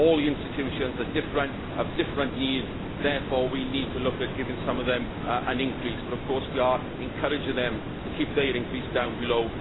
All the institutions are different and have different needs. Therefore we need to look at giving some of them an increase, but of course we are encouraging them to keep their increase down below